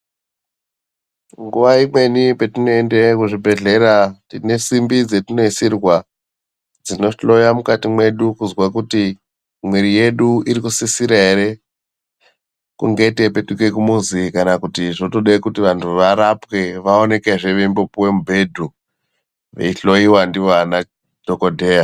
Nguwa imweni petinoende kuzvibhedhlera tine simbi dzetinoisirwa dzinohloya mukati mwedu kuzwa kuti mwiri yedu irikusisira ere kunge teipetuke kumuzi kana kuti zvotode kuti vantu varapwe vaonekezve veimbopuwe mubhedhu veihloyiwa ndiwo anadhokodheya .